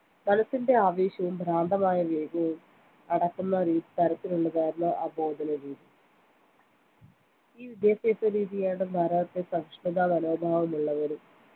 മനസ്സിന്റെ ആവേശവും ഭ്രാന്തമായ വേഗവും അടക്കുന്ന തരത്തിലുള്ളതായിരുന്നു ആ ബോധനരീതി ഈ വിദ്യാഭ്യാസരീതിയാണ് ഭാരതത്തെ സഹിഷ്ണുതാ മനോഭാവമുള്ളവരും